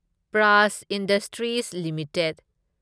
prize Industries limited